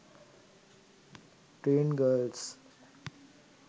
teen girls